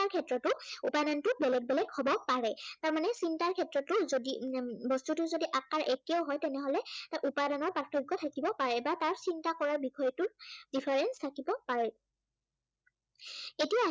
ক্ষেত্ৰতো উপাদান বেলেগ বেলেগ হব পাৰে। তাৰমানে চিন্তাৰ ক্ষেত্ৰতো যদি উম বস্তুটোৰ যদি আকাৰ একেই হয় তেনেহলে তাৰ উপাদানৰ প্ৰাৰ্থক্য় থাকিব পাৰে বা তাৰ চিন্তা কৰাৰ বিষয়টোৰ difference থাকিব পাৰে।